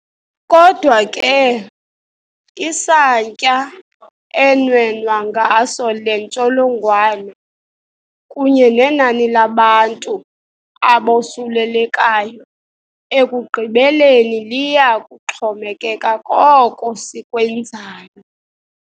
Kodwa ke, isantya enwenwa ngaso le ntsholongwane kunye nenani labantu abosulelekayo ekugqibeleni liya kuxhomekeka koko sikwenzayo.